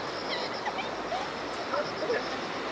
तर